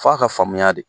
F'a ka faamuya de